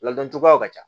Ladon cogoyaw ka ca